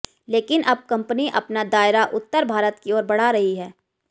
लेकिन अब कंपनी अपना दायरा उत्तर भारत की ओर बढ़ा रही है